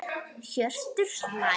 Hjörtur hlær.